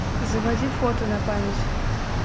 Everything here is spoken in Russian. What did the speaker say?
заводи фото на память